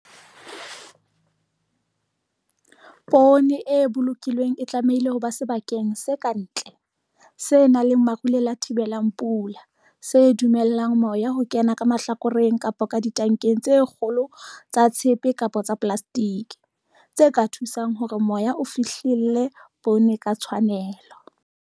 Poone e bolokilweng e tlamehile ho ba sebakeng se ka ntle, se nang le marulelo a thibelang pula, se dumellang moya ho kena ka mahlakoreng kapa ditankeng tse kgolo tsa tshepe kapa tsa polasetike, tse ka thusang hore moya o fihlelle poone ka tshwanelo.